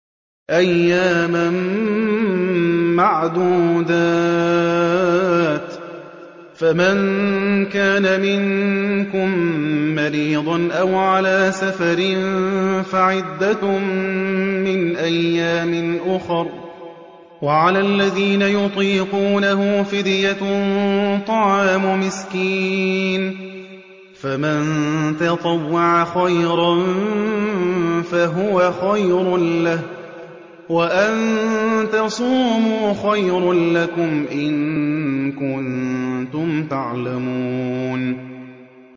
أَيَّامًا مَّعْدُودَاتٍ ۚ فَمَن كَانَ مِنكُم مَّرِيضًا أَوْ عَلَىٰ سَفَرٍ فَعِدَّةٌ مِّنْ أَيَّامٍ أُخَرَ ۚ وَعَلَى الَّذِينَ يُطِيقُونَهُ فِدْيَةٌ طَعَامُ مِسْكِينٍ ۖ فَمَن تَطَوَّعَ خَيْرًا فَهُوَ خَيْرٌ لَّهُ ۚ وَأَن تَصُومُوا خَيْرٌ لَّكُمْ ۖ إِن كُنتُمْ تَعْلَمُونَ